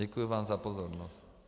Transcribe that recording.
Děkuji vám za pozornost.